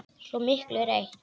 Svo miklu eru eytt.